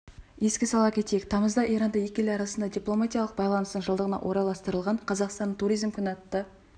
еске сала кетейік тамызда иранда екі ел арасындағы дипломатиялық байланыстың жылдығына орайластырылған қазақстанның туризмі күні атты